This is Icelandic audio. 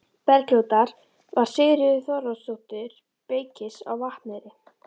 Bergljótar var Sigríður Þóroddsdóttir, beykis á Vatneyri.